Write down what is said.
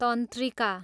तन्त्रिका